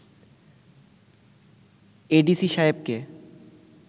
ADC সাহেবকে